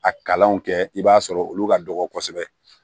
A kalanw kɛ i b'a sɔrɔ olu ka dɔgɔ kosɛbɛ